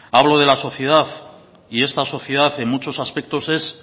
hablo de la sociedad y esta sociedad en muchos aspectos es